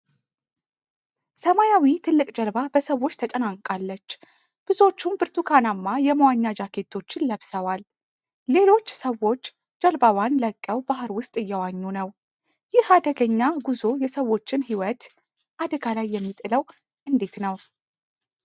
ሰማያዊ ትልቅ ጀልባ በሰዎች ተጨናንቃለች፤ ብዙዎቹም ብርቱካናማ የመዋኛ ጃኬቶችን ለብሰዋል። ሌሎች ሰዎች ጀልባዋን ለቀው ባህር ውስጥ እየዋኙ ነው። ይህ አደገኛ ጉዞ የሰዎችን ሕይወት አደጋ ላይ የሚጥለው እንዴት ነው?